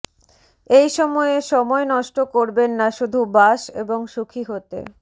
এই সময়ে সময় নষ্ট করবেন না শুধু বাস এবং সুখী হতে